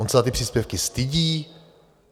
On se za ty příspěvky stydí?